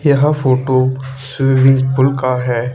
यह photo swimming pool का है।